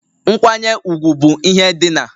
Nkwanye ugwu bụ ihe dị n'